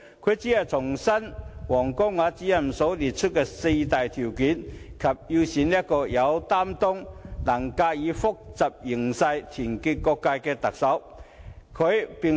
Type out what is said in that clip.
他只是重申王光亞主任列出的四大條件，以及要選出一個"有擔當、能駕馭複雜形勢、團結各界"的特首。